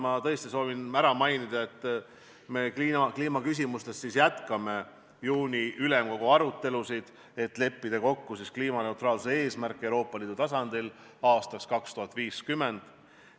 Ma tõesti soovin mainida, et kliimaküsimustes me jätkame juuni ülemkogu arutelusid, et leppida kokku kliimaneutraalsuse eesmärgis Euroopa Liidu tasandil aastaks 2050.